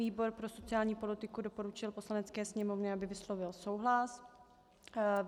Výbor pro sociální politiku doporučil Poslanecké sněmovně, aby vyslovila souhlas.